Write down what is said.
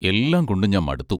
എല്ലാം കൊണ്ടും ഞാൻ മടുത്തു.